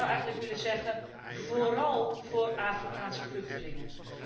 Ik zou eigenlijk willen zeggen vooral voor Afrikaanse vluchtelingen.